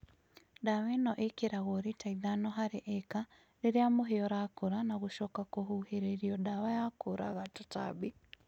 dawa ĩno ĩkĩragũo lĩta ĩthano harĩ ĩka rĩrĩa mũhĩa ũrakũra na gũcoka kũhũhĩrũo dawa ya kũũraga tũtambĩ